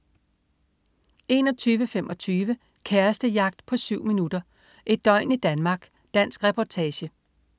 21.25 Kærestejagt på 7 min. Et døgn i Danmark. Dansk reportage